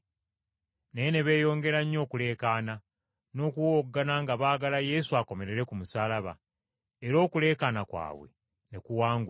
Naye ne beeyongera nnyo okuleekaana, n’okuwowoggana nga baagala Yesu akomererwe ku musaalaba. Era okuleekaana kwabwe ne kuwangula.